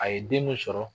A ye den min sɔrɔ